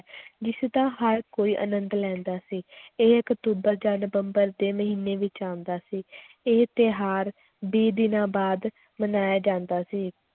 ਜਿਸਦਾ ਹਰ ਕੋਈ ਆਨੰਦ ਲੈਂਦਾ ਸੀ ਇਹ ਅਕਤੂਬਰ ਜਾਂ ਨਵੰਬਰ ਦੇ ਮਹੀਨੇ ਵਿੱਚ ਆਉਂਦਾ ਸੀ ਇਹ ਤਿਉਹਾਰ ਵੀਹ ਦਿਨਾਂ ਬਾਅਦ ਮਨਾਇਆ ਜਾਂਦਾ ਸੀ,